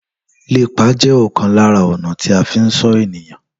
Lépa je òkan lára ọ̀nà tí a fi ń sọ ènìyàn